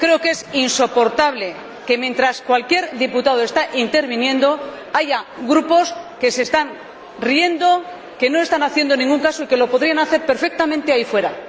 Creo que es insoportable que, mientras cualquier diputado está interviniendo, haya grupos que se están riendo, que no le están haciendo ningún caso y que lo podrían hacer perfectamente ahí fuera.